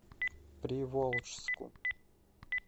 приволжску